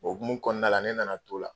O hokumu kɔɔna la ne nana n t'o la